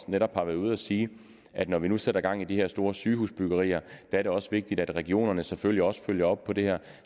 netop har været ude at sige at når vi nu sætter gang i de her store sygehusbyggerier er det også vigtigt at regionerne selvfølgelig også følger op på det her